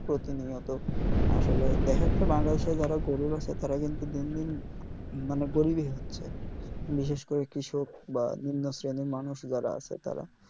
প্রতিনিয়ত আসলে দ্যাখাচ্ছে বাংলাদেশের যারা গরিব আছে তারা কিন্তু দিন দিন মানে গরিব ই হচ্ছে বিশেষ করে কৃষক বা নিম্ন শ্রেণির মানুষ যারা আছে তারা